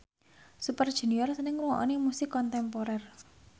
Super Junior seneng ngrungokne musik kontemporer